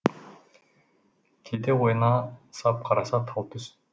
кейде ояна сап қараса тал түс